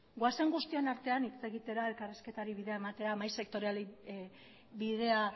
goazen guztion artean hitz egitera elkarrizketari bidea ematea mahai sektorialari bidea